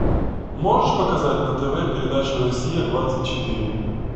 можешь показать на тв передачу россия двадцать четыре